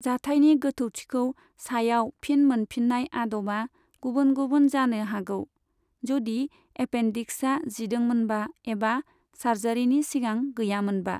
जाथाइनि गोथौथिखौ सायाव फिन मोनफिननाय आदबआ गुबुन गुबुन जानो हागौ, जदि एपेन्डिक्सआ जिदोंमोनबा एबा सार्जारिनि सिगां गैयामोनबा।